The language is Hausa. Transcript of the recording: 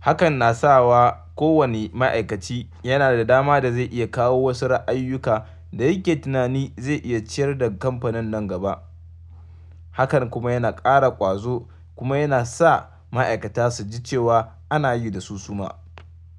Hakan na sa wa kowane ma'aikaci yana da dama da zai iya kawo wasu ra'ayuyyuka da yake tunani zai iya ciyar da kamfanin nan gaba. Hakan kuma yana ƙara ƙwazo kuma yana sa ma'aikata su ji cewa ana yi da su suma.